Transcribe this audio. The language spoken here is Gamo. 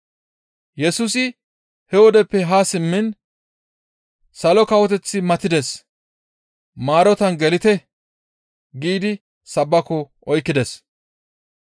Yesusi he wodeppe haa simmiin, «Salo kawoteththi matides; maarotan gelite» giidi sabbako oykkides.